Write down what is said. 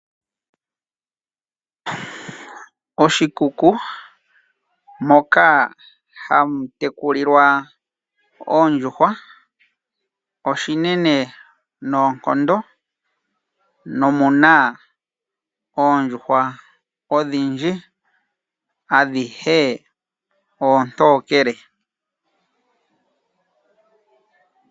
Oshikuku moka hamu tekulilwa oondjuhwa oshili oshinene noonkondo nomuna oondjuhwa odhindji adhihe oontokele.